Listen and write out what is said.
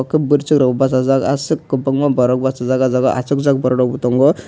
ake boroisok rok basajak asok kobangma borok basajak o jaga o asokjak borok rokbo tongo.